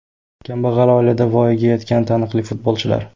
Kambag‘al oilada voyaga yetgan taniqli futbolchilar.